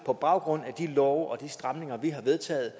på baggrund af de love og de stramninger vi har vedtaget